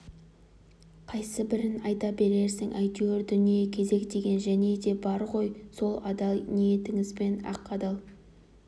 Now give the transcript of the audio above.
қайсыбірін айта берерсің әйтеуір дүние кезек деген және де бар ғой сол адал ниетіңізбен ақ адал